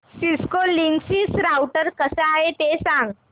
Cisco Linksys router कसा आहे ते सांग